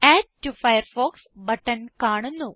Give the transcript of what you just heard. add to Firefox button കാണുന്നു